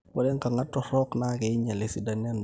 ore inkong'at torrok naa keinyial esidano endaa